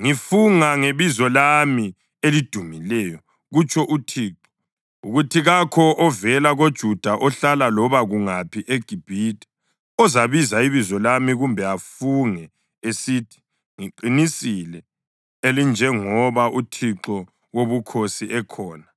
‘Ngifunga ngebizo lami elidumileyo,’ kutsho uThixo, ‘ukuthi kakho ovela koJuda ohlala loba kungaphi eGibhithe ozabiza ibizo lami kumbe afunge esithi, “Ngeqiniso elinjengoba uThixo Wobukhosi ekhona.”